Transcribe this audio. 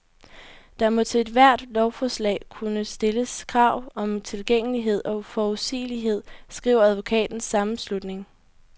Der må til ethvert lovforslag kunne stilles krav om tilgængelighed og forudsigelighed, skriver advokaternes sammenslutning.